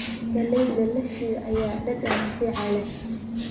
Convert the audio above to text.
Galleyda la shiilay ayaa dhadhan fiican leh.